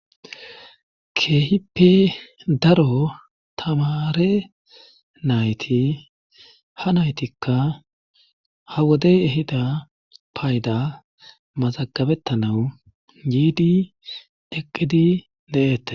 Keehippe daro tamare nayti ha naytikka ha wodey ehida payda mazagabettanau yiidi deqqidi de7eette.